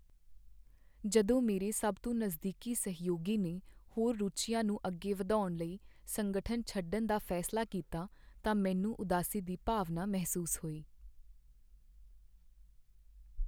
ਜਦੋਂ ਮੇਰੇ ਸਭ ਤੋਂ ਨਜ਼ਦੀਕੀ ਸਹਿਯੋਗੀ ਨੇ ਹੋਰ ਰੁਚੀਆਂ ਨੂੰ ਅੱਗੇ ਵਧਾਉਣ ਲਈ ਸੰਗਠਨ ਛੱਡਣ ਦਾ ਫੈਸਲਾ ਕੀਤਾ ਤਾਂ ਮੈਨੂੰ ਉਦਾਸੀ ਦੀ ਭਾਵਨਾ ਮਹਿਸੂਸ ਹੋਈ।